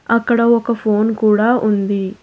అక్కడ ఒక ఫోన్ కూడా ఉంది.